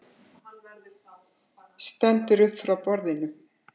Stendur upp frá borðinu.